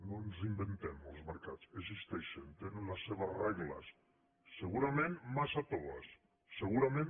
no ens inventem els mercats existeixen tenen les seves regles segurament massa toves segurament